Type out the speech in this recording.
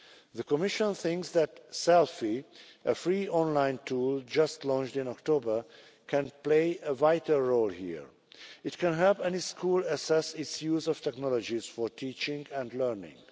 The Commission thinks that SELFIE, a free online tool just launched in October, can play a vital role here it can help any school assess its use of technologies for teaching and learning.